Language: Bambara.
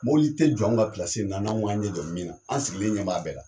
Mɔbili te jɔ an ka na n'anw ma ɲɛ dɔ min na, an sigilen ɲɛ b'a bɛɛ la.